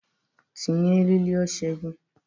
Tinye eriri oche gị!